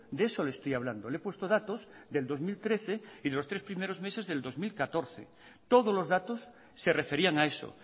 de eso le estoy hablando le he puesto datos del dos mil trece y de los tres primeros meses del dos mil catorce todos los datos se referían a eso